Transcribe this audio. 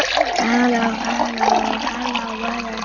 Vindar mega fara sínu fram úti fyrir.